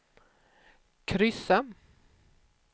kryssa